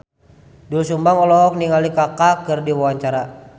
Doel Sumbang olohok ningali Kaka keur diwawancara